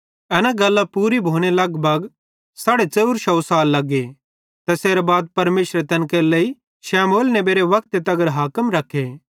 एना गल्लां पूरी भोने लगभग 450 साल लगे तैसेरां बाद परमेशरे तैन केरे लेइ शमूएल नेबेरे वक्ते तगर हाकिम रखे